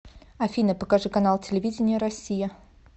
афина покажи канал телевидения россия